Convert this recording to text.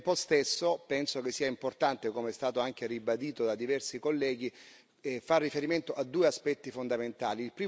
Al tempo stesso, penso che sia importante, come è stato anche ribadito da diversi colleghi, far riferimento a due aspetti fondamentali.